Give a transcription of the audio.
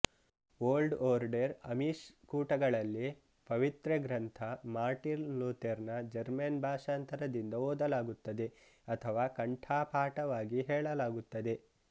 old order Amish ಕೂಟಗಳಲ್ಲಿ ಪವಿತ್ರಗ್ರಂಥ Martin ಲುತೆರ್ನ ಜೆರ್ಮನ್ ಭಾಷಾಂತರದಿಂದ ಓದಲಾಗುತ್ತದೆ ಅಥವಾ ಕಂಠಪಾಠವಾಗಿ ಹೇಳಲಾಗುತ್ತದೆ